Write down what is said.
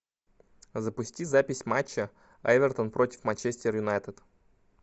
запусти запись матча эвертон против манчестер юнайтед